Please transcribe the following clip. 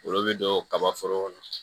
Olu bɛ don kaba foro kɔnɔ